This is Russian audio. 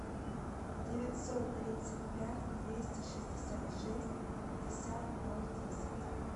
девятьсот тридцать пять двести шестьдесят шесть пятьдесят ноль десять